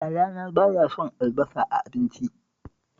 Yayana ba ya son albasa a abinci